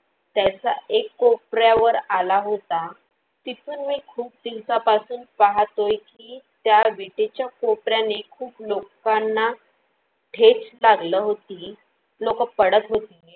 त्याचा एक कोपऱ्यावर आला होता. तिथून मी खूप दिवसापासून पाहातोय की त्या बीटेच्या कोपऱ्याने खूप लोकांना ठेच लागल होती. लोक पडत होती.